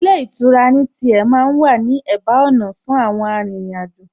Ilé ìtura ní tiẹ̀ ma ń wà ní ẹ̀bá ọ̀nà fún àwọn arìnrìn-àjò